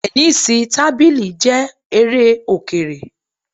Tẹnísíì tábìlì jẹ́ eré Òkèrè